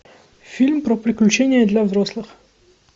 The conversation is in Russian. фильм про приключения для взрослых